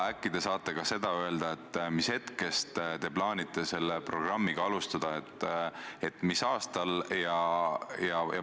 Ja äkki te saate ka seda öelda, millal te plaanite seda programmi alustada, mis aastal?